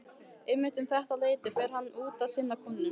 Einmitt um þetta leyti fer hann út að sinna kúnum.